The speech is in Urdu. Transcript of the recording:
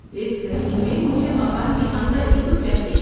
اس گرمی میں مجھے مکان کے اندر ہی کچھ چاہیے۔